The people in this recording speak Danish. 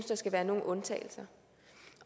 der skal være nogen undtagelser